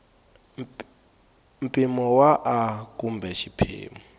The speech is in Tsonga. mpimo wa a kumbe xiphemu